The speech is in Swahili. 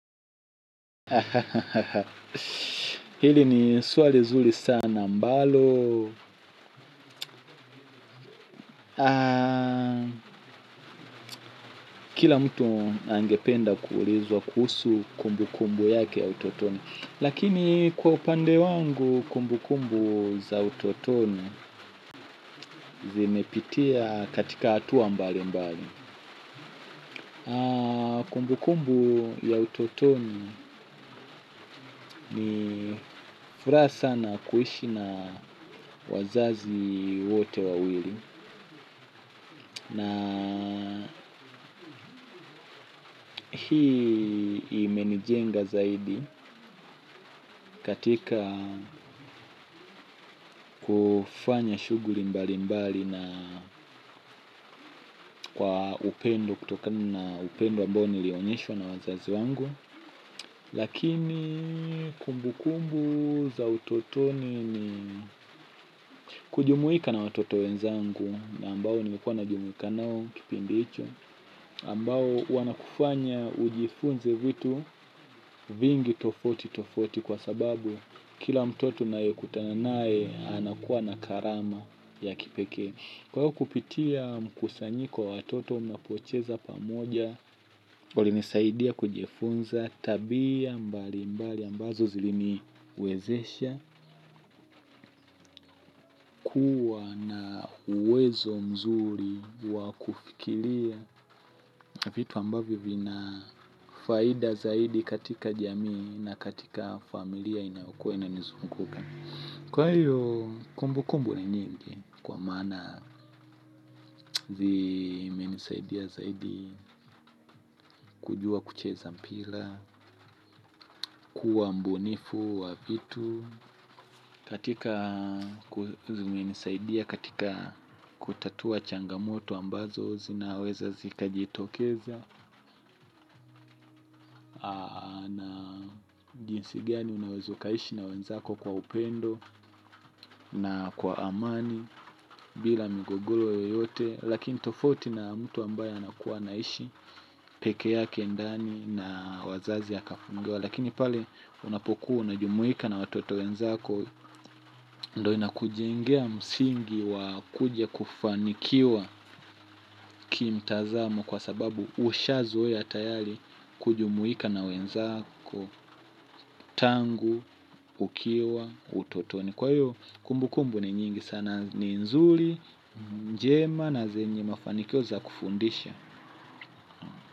Ha ha ha ha ha, hili ni swali nzuri sana ambalo, aaa, kila mtu angependa kuulizwa kuhusu kumbu kumbu yake ya utotoni, lakini kwa upande wangu kumbu kumbu za utotoni zimepitia katika hatua mbali mbali. Kumbu kumbu ya utotoni ni furaha sana kuishi na wazazi wote wawili. Na hii imenijenga zaidi katika kufanya shughuli mbali mbali na kwa upendo kutokana na upendo ambao nilionyeshwa na wazazi wangu. Lakini kumbu kumbu za utotoni ni kujumuika na watoto wenzangu ambao nilikuwa najumuika nao kipindi hicho ambao wanakufanya ujifunze vitu vingi tofauti tofauti kwa sababu kila mtoto unayekutana nae anakuwa na karama ya kipekee. Kwa kupitia mkusanyiko wa watoto mnapocheza pamoja, ulinisaidia kujifunza tabia mbali mbali ambazo ziliniwezesha kuwa na uwezo mzuri wa kufikiria vitu ambavyo vina faida zaidi katika jamii na katika familia inayokua inanizunguka. Kwa hiyo kumbu kumbu ni nyingi, kwa maana zimenisaidia zaidi kujua kucheza mpira, kuwa mbunifu wa vitu, katika zimenisaidia katika kutatua changamoto ambazo zinaweza zikajitokeza, na jinsi gani unawezo ukaishi na uenzako kwa upendo na kwa amani bila migogolo yoyote, lakini tofauti na mtu ambaye anakuwa naishi pekee ndani na wazazi akafungiwa lakini pale unapokuo na jumuika na watoto wenzako ndo inakujengea msingi wa kuja kufanikiwa kimtazamo kwa sababu ushazoe tayari kujumuika na wenzako tangu ukiwa utotoni kwa hiyo kumbu kumbu ni nyingi sana ni nzuri njema na zenye mafanikio za kufundisha.